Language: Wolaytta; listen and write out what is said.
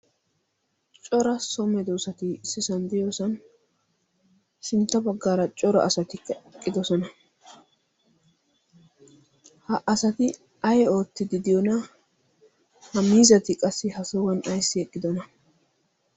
cora some doosati sisanddiyoosan sintta baggaara cora asati eqqidosona ha asati ay oottididiyoona ha miizati qassi ha sohuwan ayssi eqqidona